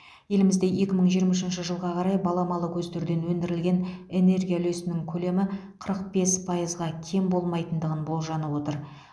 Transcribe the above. елімізде екі мың жиырма үшінші жылға қарай баламалы көздерден өндірілген энергия үлесінің көлемі қырық бес пайызға кем болмайтындығын болжанып отыр